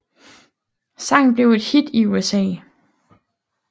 Sangen blev et hit i USA